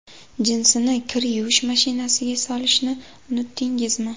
Jinsini kir yuvish mashinasiga solishni unutdingizmi?